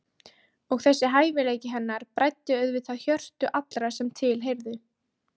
Og þessi hæfileiki hennar bræddi auðvitað hjörtu allra sem til heyrðu.